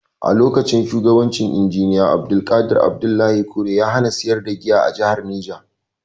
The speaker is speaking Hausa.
A lokacin shugabancin Injiniya Abdulqadir Abdullahi Kure, ya hana sayar da giya a jahar Neja.